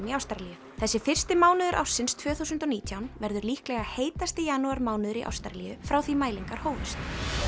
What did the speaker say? í Ástralíu þessi fyrsti mánuður ársins tvö þúsund og nítján verður líklega heitasti janúarmánuður í Ástralíu frá því mælingar hófust